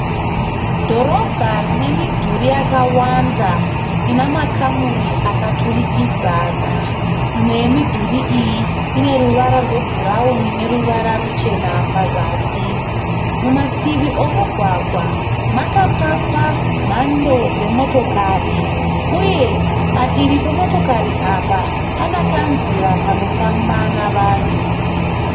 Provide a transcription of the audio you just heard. Dhorobha rine midhuri yakawanda ine makamuri akaturikidzana. Imwe yemidhuri iyi ine ruvara rwebhurawuni neruvara ruchena pazasi. Mumativi omugwagwa makapakwa mhando dzemotokari uye padivi pemotokari apa pane kanzira kanofamba nevanhu.